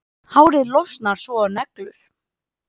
Hárið losnar svo og neglur.